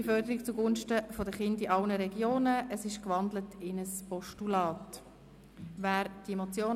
Frühe Förderung zu Gunsten der Kinder in allen Regionen!», die in ein Postulat umgewandelt worden ist.